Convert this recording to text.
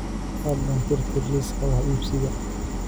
fadlan tirtir liiska wax iibsiga